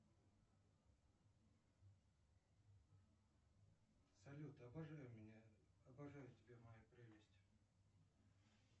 салют обожаю тебя моя прелесть